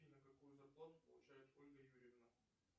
афина какую зарплату получает ольга юрьевна